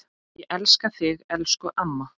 Ég elska þig, elsku amma.